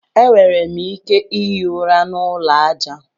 E nwere m ike ihi ụra n'ụlọ aja.